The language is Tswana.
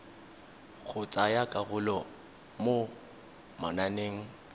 go tsaya karolo mo mananeng